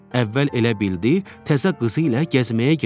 Əvvəl elə bildi təzə qızı ilə gəzməyə gedib.